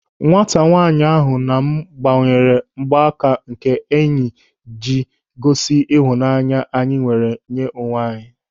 Nwata nwaanyị ahụ na m gbanwere mgbaaka nke enyi ịji gosi ịhụnanya anyị nwere nye onwe anyị.